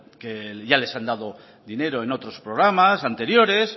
que ya les han dado dinero en otros programas anteriores